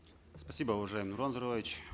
спасибо уважаемый нурлан зайроллаевич